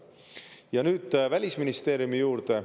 Ja nüüd Välisministeeriumi juurde.